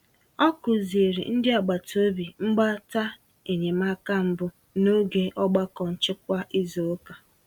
Ọ kụziri ndị agbata obi mgbata enyemaka mbụ n'oge ogbako nchekwa izu ụka.